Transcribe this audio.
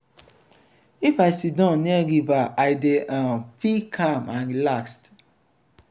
if i siddon near river i dey um feel calm and relaxed